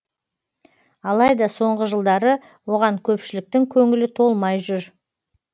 алайда соңғы жылдары оған көпшіліктің көңілі толмай жүр